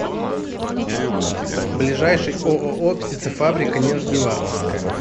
ближайший ооо птицефабрика нижневартовская